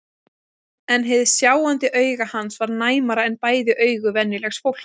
En hið sjáandi auga hans var næmara en bæði augu venjulegs fólks.